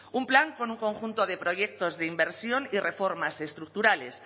un plan con un conjunto de proyectos de inversión y reformas estructurales